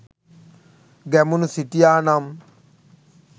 ගැමුණු සිටියා නම්